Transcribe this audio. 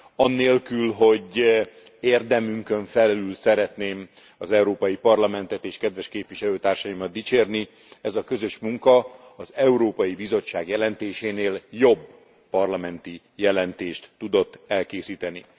Anélkül, hogy érdemünkön felül szeretném az Európai Parlamentet és kedves képviselőtársaimat dicsérni, ez a közös munka az Európai Bizottság jelentésénél jobb parlamenti jelentést tudott elkészíteni.